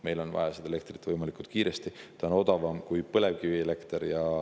Meil on vaja seda elektrit võimalikult kiiresti, ta on odavam kui põlevkivielekter.